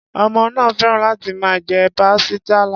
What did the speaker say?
Ọmọ náà féràn láti máa jẹ pastilla.